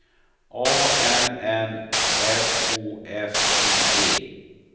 A N N S O F I E